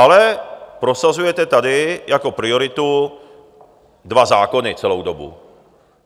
Ale prosazujete tady jako prioritu dva zákony celou dobu.